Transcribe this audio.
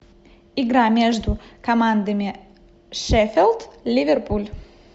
игра между командами шеффилд ливерпуль